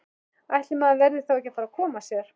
Ætli maður verði þá ekki að fara að koma sér!